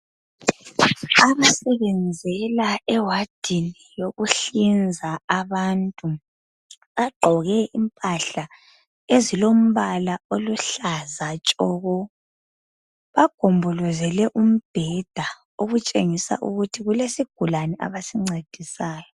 Abasebenzela ewadini yokuhlinza abantu bagqoke impahla ezilombala oluhlaza tshoko, bagombolozele umbeda okutshengisa ukuthi kulesigulani abasincedisayo.